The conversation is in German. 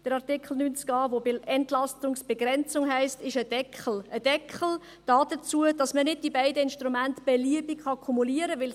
Dort, wo es Entlastungsbegrenzung heisst, ist ein Deckel vorhanden – ein Deckel, der dazu dient, dass man die beiden Instrumente beliebig kumulieren kann.